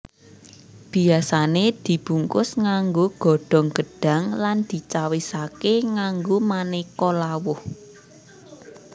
Biyasane dibungkus nganggo godhong gedhang lan dicawisake nganggo maneka lawuh